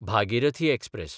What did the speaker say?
Bhagirathi express